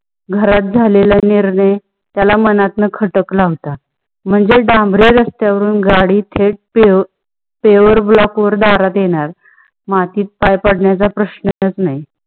घरात झालेला निर्णय त्याला मनात ना खटला होता. महणजे डांबरे रस्त्या वरुण गाडी थेट pave block वर दरात येणार माती वर पाय पडण्याचा पप्रश्नच नाही.